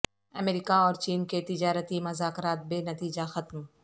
امریکہ اور چین کے تجارتی مذاکرات بے نتیجہ ختم